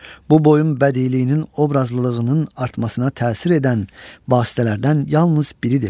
Bu boyun bədiiyyəliyinin, obrazlılığının artmasına təsir edən vasitələrdən yalnız biridir.